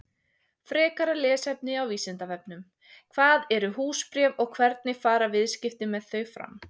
Frekara lesefni á Vísindavefnum: Hvað eru húsbréf og hvernig fara viðskipti með þau fram?